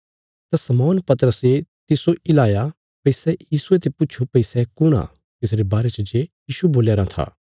तां शमौन पतरसे तिस्सो हिलाया भई सै यीशुये ते पुछो भई सै कुण आ तिसरे बारे च जे यीशु बोल्या राँ था